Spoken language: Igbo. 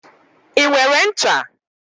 I nwere ncha?